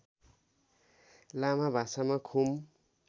लामा भाषामा खुम